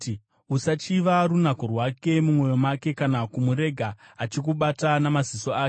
Usachiva runako rwake mumwoyo mako, kana kumurega achikubata namaziso ake,